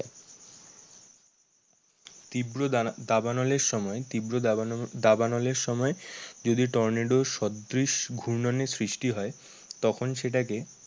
তীব্র দাবানলের সময় তীব্র দাবানলের সময় যদি টর্নেডো সদৃশ ঘূর্ণয়নের সৃষ্টি হয় তখন সেটাকে